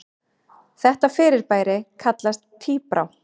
Þetta fyrirbæri kallast tíbrá.